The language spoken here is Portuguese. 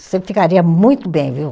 Você ficaria muito bem, viu?